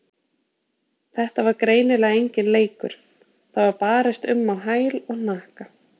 Þetta var greinilega enginn leikur, það var barist um á hæl og hnakka.